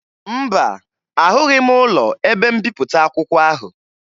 Mba, ahụghị m ụlọ ebe mbipụta akwụkwọ ahụ